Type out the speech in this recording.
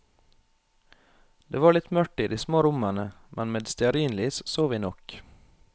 Det var litt mørkt i de små rommene, men med stearinlys så vi nok.